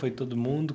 Foi todo mundo?